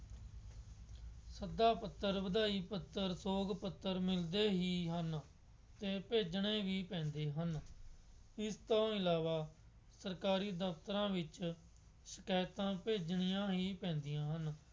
ਸੱਦਾ ਪੱਤਰ, ਵਧਾਈ ਪੱਤਰ, ਸੋਗ ਪੱਤਰ ਮਿਲਦੇ ਹੀ ਹਨ ਅਤੇ ਭੇਜਣੇ ਹੀ ਪੈਂਦੇ ਹਨ। ਇਸ ਤੋਂ ਇਲਾਵਾ ਸਰਕਾਰੀ ਦਫਤਰਾਂ ਵਿੱਚ ਸ਼ਿਕਾਇਤਾਂ ਭੇਜਣੀਆਂ ਹੀ ਪੈਂਦੀਆਂ ਹਨ।